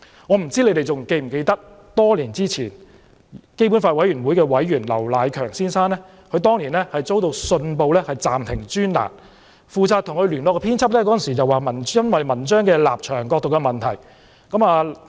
我不知他們是否還記得，基本法委員會委員劉迺強先生多年前遭到《信報》暫停專欄，負責與他聯絡的編輯稱文章的立場、角度有問題。